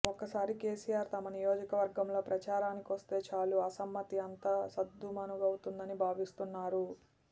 ఒక్కసారి కేసీఆర్ తమ నియోజకవర్గంలో ప్రచారానికొస్తే చాలు అసమ్మతి అంతా సద్దుమణుగుతుందని భావిస్తున్నారు